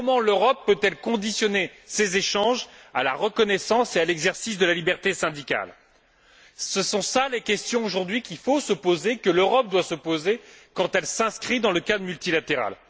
Comment l'Europe peut elle conditionner ces échanges à la reconnaissance et à l'exercice de la liberté syndicale? Ce sont là les questions qu'il faut aujourd'hui se poser, que l'Europe doit se poser quand elle s'inscrit dans un cadre multilatéral.